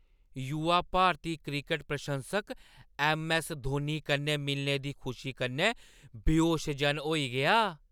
युवा भारती क्रिकट प्रशंसक ऐम्म.ऐस्स. धोनी कन्नै मिलने दी खुशी कन्नै बेहोश-जन होई गेआ।